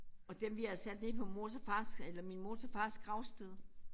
Og dem vi har sat nede på mors og fars eller min mors og fars gravsted